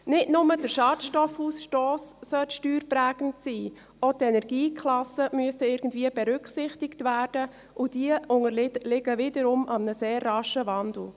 Nicht nur der Schadstoffausstoss sollte steuerprägend sein, auch die Energieklassen müssten irgendwie berücksichtigt werden, und diese unterliegen wiederum einem sehr raschen Wandel.